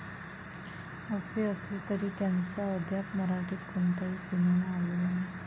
असे, असले तरी त्यांचा अद्याप मराठीत कोणताही सिनेमा आलेला नाही.